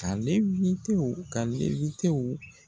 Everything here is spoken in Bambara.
.